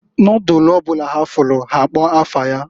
Nodulu ọ bụla ha fụlụ ha akpọọ afa ya.